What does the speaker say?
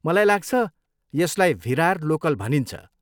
मलाई लाग्छ, यसलाई भिरार लोकल भनिन्छ।